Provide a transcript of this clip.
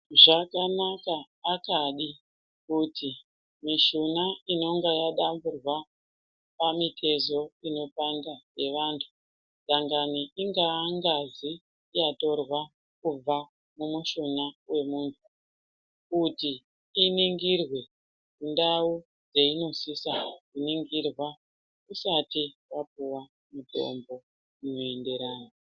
Zvakanaka akani kuti mishuna inenge yadamburwapamitezo inopanda yevanthu kana ichingee ngazi yatorwa kubva kumushuna wemunthu kuti iningerwe ndau peinosisao kuningirwa usati wapuwao mutombo unoenderana.